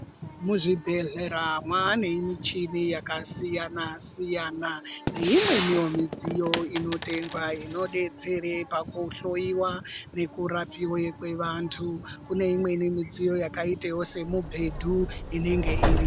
Muzvibhehlera mwaane muchini yakasiyana -siyana neimweniwo midziyo inotengwa inodetsere pakuhloiwa nekurapiwe kwevantu. Kune imweni midziyo yakaita semubhedhu inenge irimwo.